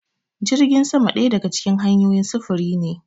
Jirgin sama ɗaya daga cikin hanyoyin sufuri ne.